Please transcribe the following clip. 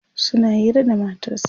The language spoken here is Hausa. suna Hira da matarsa